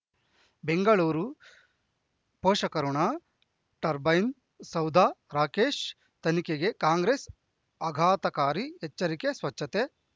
ಬೆಂಗಳೂರು ಪೋಷಕಋಣ ಟರ್ಬೈನು ಸೌಧ ರಾಕೇಶ್ ತನಿಖೆಗೆ ಕಾಂಗ್ರೆಸ್ ಆಘಾತಕಾರಿ ಎಚ್ಚರಿಕೆ ಸ್ವಚ್ಛತೆ